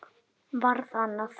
Varð annað.